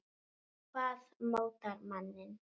Hvað mótar manninn?